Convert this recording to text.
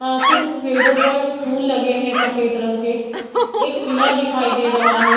आ कुछ पेड़ो पर फूल लगे हैं सफेद रंग के एक किला दिखाई दे रहा है।